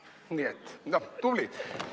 Nii et, noh, tublid.